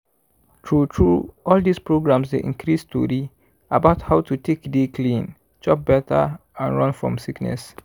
true true all dis programs dey increase tori about how to take dey clean chop better and run from sickness.